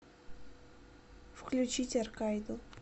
включить аркайду